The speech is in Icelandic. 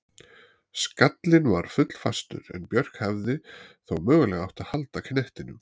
Skallinn var full fastur en Björk hefði þó mögulega átt að halda knettinum.